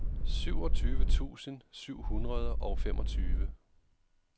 syvogtyve tusind syv hundrede og femogtyve